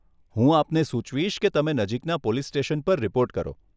હું આપને સુચવીશ કે તમે નજીકના પોલીસ સ્ટેશન પર રીપોર્ટ કરો.